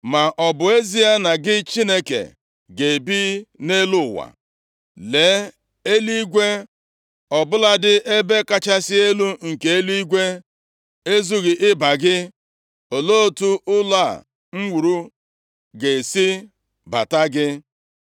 “Ma ọ bụ ezie na gị Chineke ga-ebi nʼelu ụwa? Lee, eluigwe ọbụladị ebe kachasị elu nke eluigwe, ezughị ịba gị. Olee otu ụlọ a nke m wuru ga-esi bata gị?